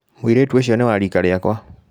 Mũirĩtu ũcio nĩ wa riika rĩakwa.